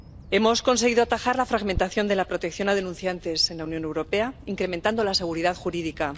Hemos conseguido atajar la fragmentación de la protección a los denunciantes en la Unión Europea, incrementando la seguridad jurídica.